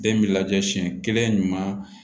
Den bɛ lajɛ siyɛn kelen ɲuman